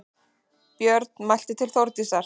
Björn mælti til Þórdísar